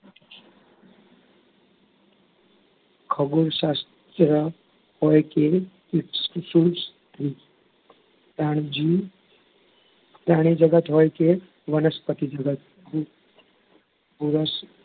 ખગોડશાસ્ત્ર હોય કે પ્રાણીજગત હોય કે વનસ્પતિજગત